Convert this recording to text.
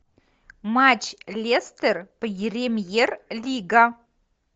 матч лестер премьер лига